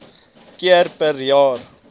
keer per jaar